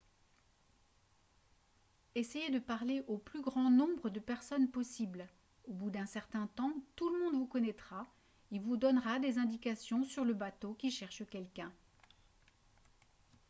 essayez de parler au plus grand nombre de personnes possible au bout d'un certain temps tout le monde vous connaîtra et vous donnera des indications sur le bateau qui cherche quelqu'un